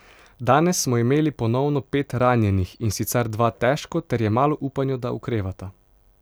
Danes smo imeli ponovno pet ranjenih, in sicer dva težko ter je malo upanja, da okrevata.